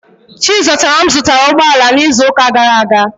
Chizọtaram zụtara ụgbọ ala n'izu ụka gara aga.